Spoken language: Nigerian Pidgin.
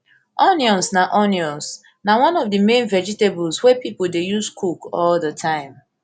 onions na onions na one of di main vegetables wey pipo dey use cook all di time